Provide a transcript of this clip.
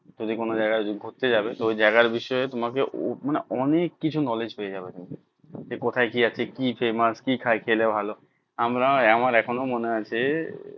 যদি কোনো জায়গায় ঘুরতে যাবে তো ওই জায়গার বিষয়ে তোমাকে মানে অনেক কিছু knowledge পেয়ে যাবে তুমি কোথায় কি আছে কি সেই মাছ কি খায় কি খেলে ভালো আমরা আমার এখনো মনে আছে